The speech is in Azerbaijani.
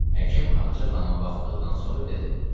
Həkim Ağca xanıma baxdıqdan sonra dedi: